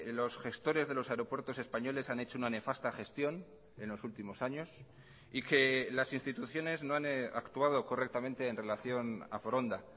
los gestores de los aeropuertos españoles han hecho una nefasta gestión en los últimos años y que las instituciones no han actuado correctamente en relación a foronda